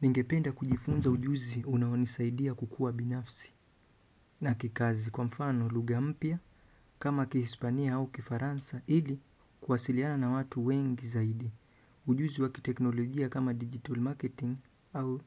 Ningependa kujifunza ujuzi unaonisaidia kukua binafsi na kikazi kwa mfano luga mpya kama Kihispania au Kifaransa ili kwasiliana na watu wengi zaidi. Ujuzi wa kiteknologia kama digital marketing au